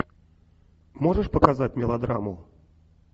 можешь показать мелодраму